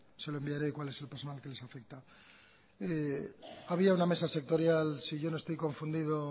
se lo enviaré cuál es el personal que les afecta había una mesa sectorial si yo no estoy confundido